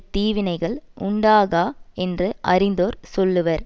தீவினைகள் உண்டாகா என்று அறிந்தோர் சொல்லுவர்